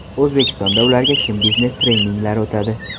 O‘zbekistonda ularga kim biznes treninglar o‘tadi?